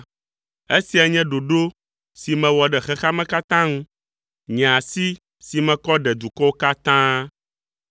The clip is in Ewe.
Esia nye ɖoɖo si mewɔ ɖe xexea me katã ŋu, nye asi si mekɔ ɖe dukɔwo katã dzi,